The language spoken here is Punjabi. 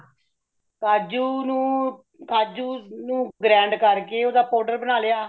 ਕਾਜੁ ਨੂੰ ,ਕਾਜੁ ਨੂੰ grind ਕਰ ਕੇ ਓਦਾਂ powder ਬਣਾ ਲਿਆ